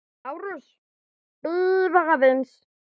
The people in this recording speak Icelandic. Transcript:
LÁRUS: Bíðið aðeins!